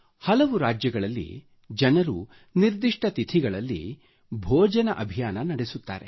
ಹಲವು ರಾಜ್ಯಗಳಲ್ಲಿ ಜನರು ತಿಥಿ ಭೋಜನ ಅಭಿಯಾನ ನಡೆಸುತ್ತಾರೆ